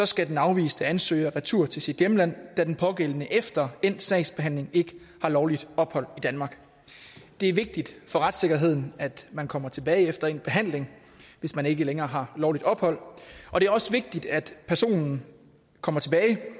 skal den afviste ansøger retur til sit hjemland da den pågældende efter endt sagsbehandling ikke har lovligt ophold i danmark det er vigtigt for retssikkerheden at man kommer tilbage efter endt behandling hvis man ikke længere har lovligt ophold det er også vigtigt at personen kommer tilbage